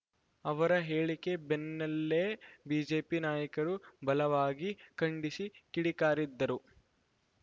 ಅವರ ಹೇಳಿಕೆ ಬೆನ್ನಲ್ಲೇ ಬಿಜೆಪಿ ನಾಯಕರು ಬಲವಾಗಿ ಖಂಡಿಸಿ ಕಿಡಿಕಾರಿದ್ದರು